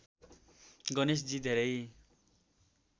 गणेशजी धेरै